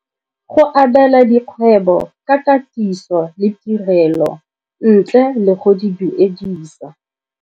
Go abela dikgwebo ka katiso le tirelo ntle le go di duedisa.